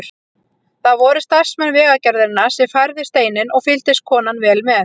Það voru starfsmenn Vegagerðarinnar sem færðu steininn og fylgdist konan vel með.